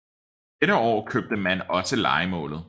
Dette år købte man også lejemålet